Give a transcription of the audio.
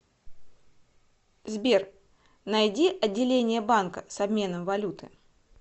сбер найди отделение банка с обменом валюты